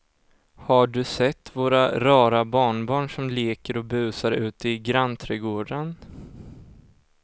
Har du sett våra rara barnbarn som leker och busar ute i grannträdgården!